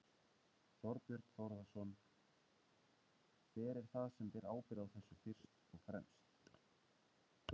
Þorbjörn Þórðarson: Hver er það sem ber ábyrgð á þessu fyrst og fremst?